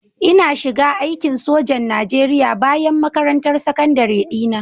Ina shiga aikin sojan Najeriya bayan makarantar sakandare dina